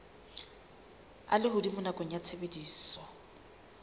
a lehodimo nakong ya tshebediso